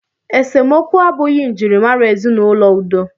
Esemokwu abụghị njirimara ezinaụlọ udo.